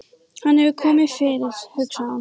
Hvað hefur komið fyrir, hugsaði hún.